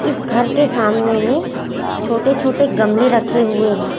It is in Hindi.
इस घर के सामने में छोटे छोटे गमले रखे हुए है।